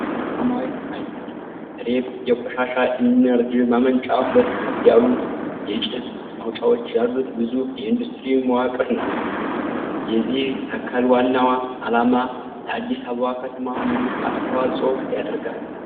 ከሰማያዊ ሰማይ ስር፣ ሬጲ የቆሻሻ ኢነርጂ ማመንጫ ሁለት ከፍ ያሉ የጭስ ማውጫዎች ያሉት ግዙፍ የኢንዱስትሪ መዋቅር ነው። የዚህ ተክል ዋና ዓላማ ለአዲስ አበባ ከተማ ምን አስተዋፅዖ ያደርጋል?